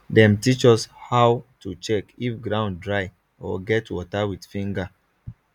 dem teach us how to check if ground dry or get water with finger